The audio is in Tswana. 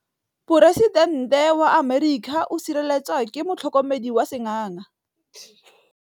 Poresitêntê wa Amerika o sireletswa ke motlhokomedi wa sengaga.